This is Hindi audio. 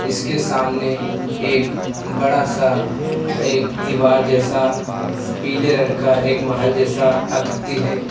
इसके सामने एक बड़ा सा एक दीवार जैसा पीले रंग का एक महल जैसा आकृति है।